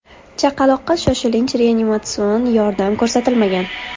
Chaqaloqqa shoshilinch reanimatsion yordam ko‘rsatilmagan.